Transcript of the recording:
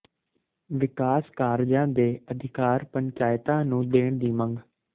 ਵਿਕਾਸ ਕਾਰਜਾਂ ਦੇ ਅਧਿਕਾਰ ਪੰਚਾਇਤਾਂ ਨੂੰ ਦੇਣ ਦੀ ਮੰਗ